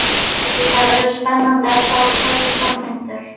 Það verður spennandi að sjá hverju fram vindur.